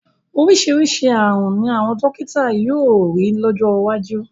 Oríṣiríṣi ààrùn ni àwọn dọ́kítà yóò rí lọ́jọ́ iwájú.